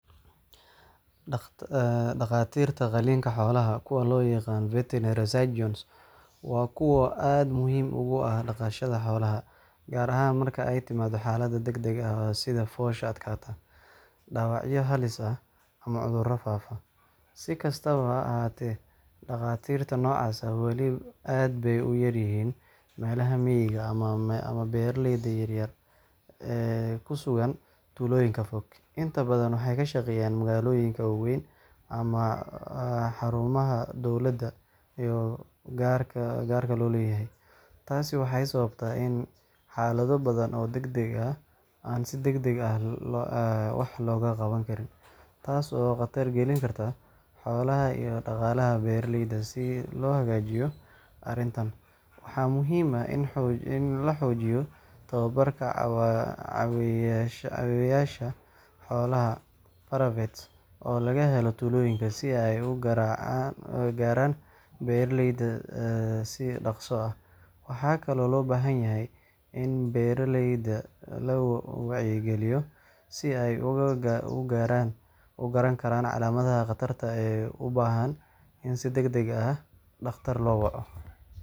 Dhakhaatiirta qaliinka xoolaha – kuwa loo yaqaan veterinary surgeons – waa kuwo aad muhiim ugu ah dhaqashada xoolaha, gaar ahaan marka ay timaado xaalado degdeg ah sida foosha adkaata, dhaawacyo halis ah, ama cudurro faafa. Si kastaba ha ahaatee, dhakhaatiirta noocaas ah weli aad bay u yar yihiin meelaha miyiga ah ama beeraleyda yaryar ee ku sugan tuulooyinka fog. Inta badan waxay ka shaqeeyaan magaalooyinka waaweyn ama xarumaha dowladda iyo gaarka loo leeyahay. Taasi waxay sababtay in xaalado badan oo degdeg ah aan si degdeg ah wax looga qaban karin, taas oo khatar gelin karta xoolaha iyo dhaqaalaha beeraleyda. Si loo hagaajiyo arrintan, waxaa muhiim ah in la xoojiyo tababarka caawiyeyaasha xoolaha (paravets) oo laga helo tuulooyinka, si ay u gaaraan beeraleyda si dhakhso ah. Waxaa kaloo loo baahan yahay in beeraleyda la wacyigeliyo si ay u garan karaan calaamadaha khatarta ah ee u baahan in si degdeg ah dhakhtar loo waco